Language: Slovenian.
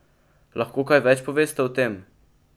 Lahko kaj več poveste o tem?